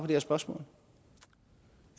her spørsmål